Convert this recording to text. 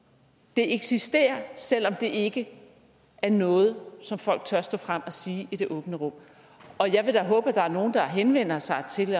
det eksisterer selv om det ikke er noget som folk tør stå frem og sige i det åbne rum jeg vil da håbe der er nogle der henvender sig til